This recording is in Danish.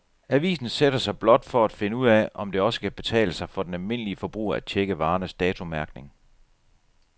Avisen sætter sig blot for at finde ud af, om det også kan betale sig for den almindelige forbruger at checke varernes datomærkning.